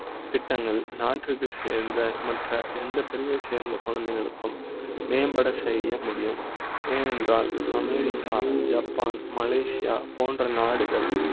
திட்டங்கள் நாட்டுக்கு சேர்ந்த மற்ற எந்த பிரிவை சேர்ந்த குழந்தைகளுக்கு ம் மேம்பட செய்ய முடியும் ஏனென்றால் அமெரிக்கா, ஜப்பா ன், மலேசியா போன்ற நாடுகள்